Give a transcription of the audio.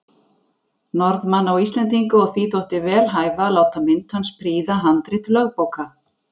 Norðmanna og Íslendinga, og því þótti vel hæfa að láta mynd hans prýða handrit lögbóka.